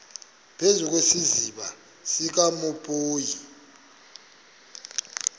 phezu kwesiziba sikanophoyi